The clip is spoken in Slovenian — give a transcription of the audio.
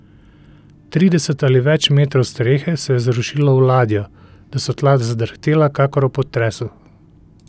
Trideset ali več metrov strehe se je zrušilo v ladjo, da so tla zadrhtela kakor ob potresu.